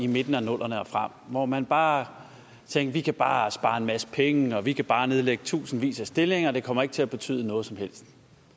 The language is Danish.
midten af nullerne og frem hvor man bare tænkte vi kan bare spare en masse penge vi kan bare nedlægge tusindvis af stillinger det kommer ikke til at betyde noget som helst